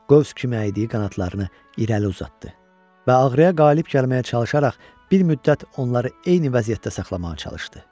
Qövs kimi əydiyi qanadlarını irəli uzatdı və ağrıya qalib gəlməyə çalışaraq bir müddət onları eyni vəziyyətdə saxlamağa çalışdı.